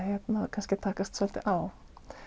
kannski að takast svolítið á